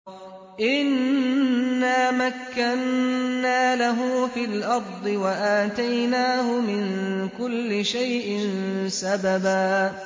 إِنَّا مَكَّنَّا لَهُ فِي الْأَرْضِ وَآتَيْنَاهُ مِن كُلِّ شَيْءٍ سَبَبًا